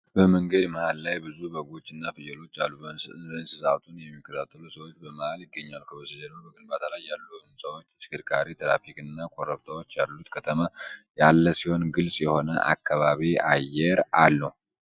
በመንገድ መሃል ላይ ብዙ በጎች እና ፍየሎች አሉ። እንስሳቱን የሚከታተሉ ሰዎች በመሀል ይገኛሉ። ከበስተጀርባ በግንባታ ላይ ያሉ ሕንፃዎች፣ የተሽከርካሪ ትራፊክ እና ኮረብታዎች ያሉት ከተማ ያለ ሲሆን፣ ግልጽ የሆነ ከባቢ አየር አለው።